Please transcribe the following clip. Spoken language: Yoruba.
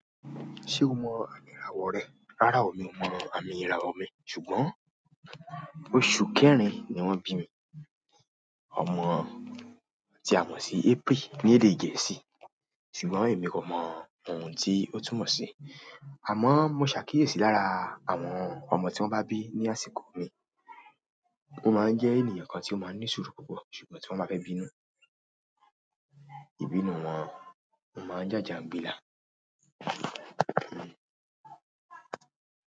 Ṣé o mọ àmì ìràwọ̀ rẹ? Rárá o, mi ò mọ àmì ìràwọ̀ mi ṣùgbọ́n oṣù kẹrin ni wọ́n bí mi. Ọmọ ti a mọ̀ sí April ní èdè gẹ̀ẹ́sì ṣùgbọ́n èmi kò mọ oun tí ó túmọ̀ sí. Àmọ́ mo ṣàkíyèsí lára àwọn ọmọ tí wọ́n bá bí ní àsìkò mi. Won máa ń jẹ́ ènìyàn kan tí ó máa ń ní sùúrù púpọ̀ ṣùgbọ́n tí wọ́n bá fẹ́ bínú, ìbínú wọn máa ń jàjà gbilà.